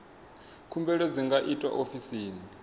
khumbelo dzi nga itwa ofisini